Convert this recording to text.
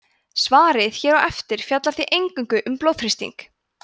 svarið hér á eftir fjallar því eingöngu um blóðþrýsting